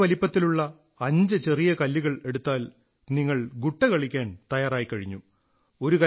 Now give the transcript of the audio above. ഒരേ വലിപ്പത്തിലുള്ള അഞ്ച് ചെറിയ കല്ലുകൾ എടുത്താൽ നിങ്ങൾ ഗുട്ട കളിക്കാൻ തയ്യാറായിക്കഴിഞ്ഞു